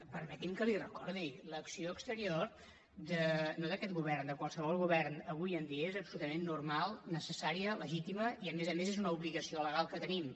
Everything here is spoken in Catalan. permeti’m que l’hi recordi l’acció exterior no d’aquest govern de qualsevol govern avui en dia és absolutament normal necessària legítima i a més a més és una obligació legal que tenim